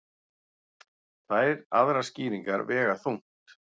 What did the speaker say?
Tvær aðrar skýringar vega þungt